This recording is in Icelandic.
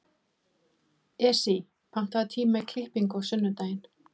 Esí, pantaðu tíma í klippingu á sunnudaginn.